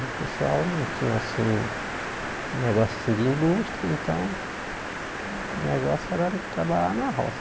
O pessoal não tinha, assim, negócio de indústria, então o negócio era trabalhar na roça.